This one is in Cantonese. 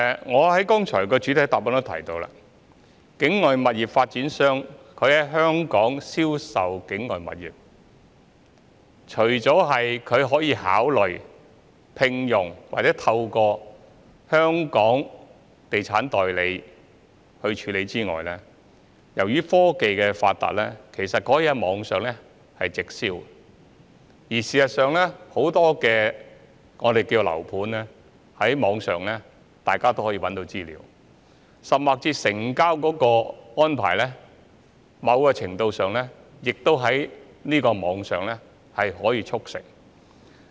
我剛才在主體答覆也提到，境外物業發展商在香港銷售境外物業，除了可以考慮聘用或透過香港地產代理處理之外，由於科技發達，他們也可以在網上直銷，而事實上，大家也可以在網上找到很多樓盤的資料，甚至是在成交的安排方面，某程度上亦可以在網上促成。